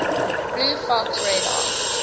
blue fox radar